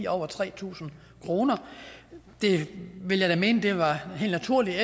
over tre tusind kroner det ville jeg da mene var helt naturligt